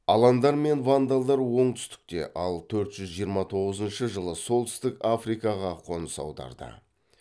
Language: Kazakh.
аландар мен вандалдар оңтүстікке ал төрт жүз жиырма тоғызыншы жылы солтүстік африкаға қоныс аударды